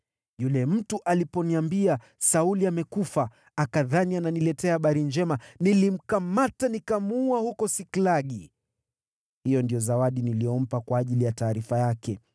yule mtu aliponiambia, ‘Sauli amekufa,’ akadhani ananiletea habari njema, nilimkamata, nikamuua huko Siklagi. Hiyo ndiyo zawadi niliyompa kwa ajili ya taarifa yake!